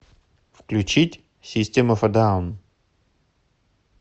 включить систем оф э даун